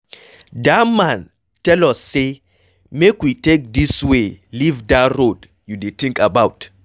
Dat man tell us say make we take dis way leave dat road you dey think about.